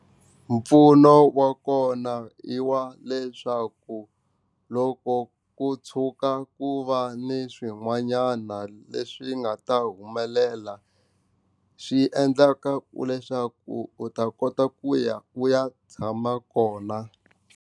Mpfuno wa kona i wa leswaku loko ku tshuka ku va ni swin'wanyana leswi nga ta humelela swi endlaka ku leswaku u ta kota ku ya u ya tshama kona.